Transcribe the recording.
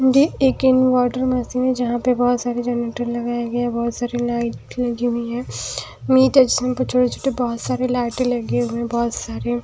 एक inverter machine जहां पे बहुत सारे बहुत सारे जनरेटर लगाए गए हैं बहोत सारे लाइट लग गया है मीट है जिसमें छोटे-छोटे बहुत सारे लाइट लगे हुए बहुत सारे--